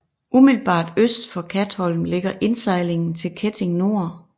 Umiddelbart øst for Katholm ligger indsejlingen til Ketting Nor